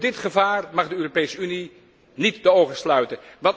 Voor dit gevaar mag de Europese Unie niet de ogen sluiten.